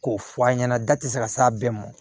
K'o fɔ an ɲɛna da ti se ka s'a bɛɛ mɔ